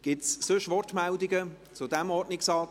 Gibt es sonstige Wortmeldungen zu diesem Ordnungsantrag?